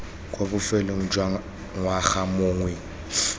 kwa bofelong jwa ngwaga mongwe